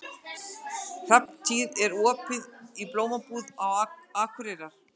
Hrafntýr, er opið í Blómabúð Akureyrar?